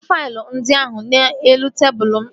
Weta faịlụ ndị ahụ n'elu tebụl m ozigbo!